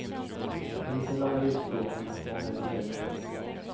Under sin långa livstid har den haft många undringar.